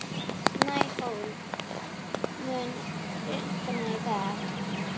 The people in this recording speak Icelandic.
Snæhólm, mun rigna í dag?